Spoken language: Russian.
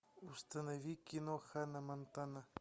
установи кино ханна монтана